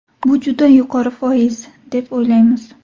Bu juda yuqori foiz, deb o‘ylaymiz.